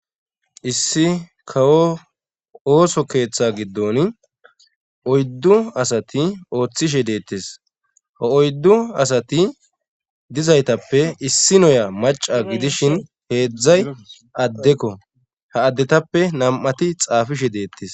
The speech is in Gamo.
issi kawo ooso keeththe giddon oyddu asati ooththishe deettes ha oyddu asati dizaytappe issi noya maca gidishin heedzdzay addekko ha addetappe nam7ati xaafishe deettes